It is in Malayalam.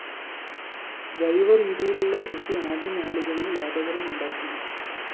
ജൈവരീതിയിലുളള കൃഷി ആദ്യനാളുകളില്‍ ലാഭകരമുണ്ടാക്കില്ല